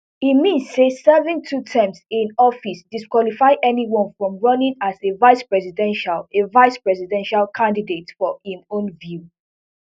e mean say serving two terms in office disqualify anyone from running as a vicepresidential a vicepresidential candidate for im own view